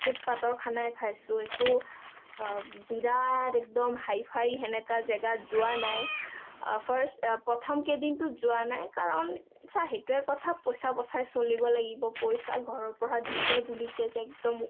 foot-path ৰ খানাই খাইচো, একো বিৰাত একদম হাই-ফাই জেগাত যোৱা নাই । first প্ৰথম কেইদিনটো যোৱা নাই কাৰণ চা হেইটোৱে কথা পইচা বচাই চলিব লাগিব, পইচা ঘৰৰ পৰা দিছে বুলি কে যে একদম